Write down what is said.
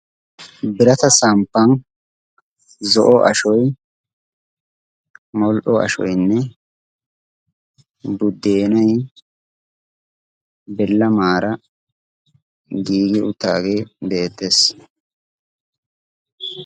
Birata samppan zo'o ashoy, mol''o ashoynne buddeenay bilamaara giigi uttaagee beettees.